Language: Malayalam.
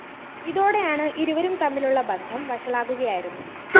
ഇതോടെയാണ് ഇരുവരും തമ്മിലുള്ള ബന്ധം വഷളാകുകയായിരുന്നു